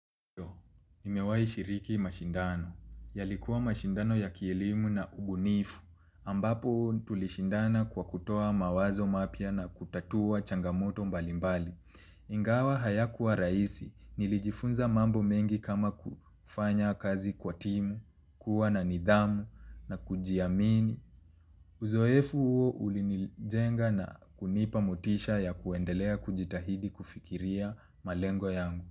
Nimewahi shiriki mashindano. Yalikuwa mashindano ya kielimu na ubunifu ambapo tulishindana kwa kutoa mawazo mapya na kutatua changamoto mbalimbali. Ingawa hayakuwa rahisi. Nilijifunza mambo mengi kama kufanya kazi kwa timu, kuwa na nidhamu na kujiamini. Uzoefu huo ulinijenga na kunipa motisha ya kuendelea kujitahidi kufikiria malengo yangu.